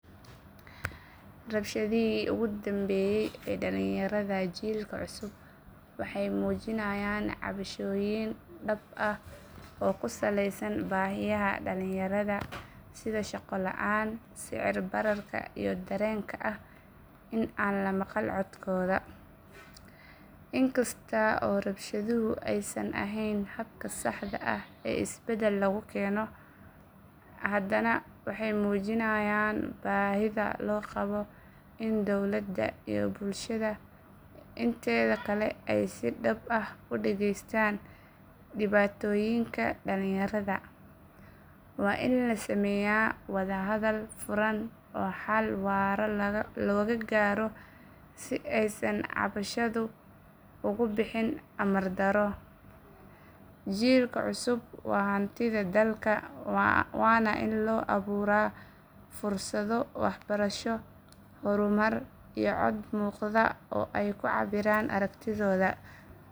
Rabshadihii ugu dambeeyay ee dhalinyarada jiilka cusub waxay muujinayaan cabashooyin dhabta ah oo ku saleysan baahiyaha dhallinyarada sida shaqo la’aanta, sicir bararka iyo dareenka ah in aan la maqal codkooda. Inkasta oo rabshaduhu aysan ahayn habka saxda ah ee isbedel lagu keeno, haddana waxay muujinayaan baahida loo qabo in dowladda iyo bulshada inteeda kale ay si dhab ah u dhageystaan dhibaatooyinka dhalinyarada. Waa in la sameeyaa wadahadal furan oo xal waara laga gaaro si aysan cabashadu ugu bixin amar darro. Jiilka cusub waa hantida dalka waana in loo abuuraa fursado waxbarasho, horumar iyo cod muuqda oo ay ku cabbiraan aragtidooda.